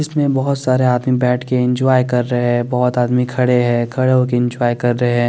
इसमें बोहोत सारे आदमी बेठ के इंजॉय कर रहे है बोहोत आदमी खड़े है खड़े हो कर इंजॉय कर रहे है।